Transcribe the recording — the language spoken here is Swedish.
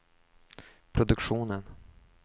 produktionen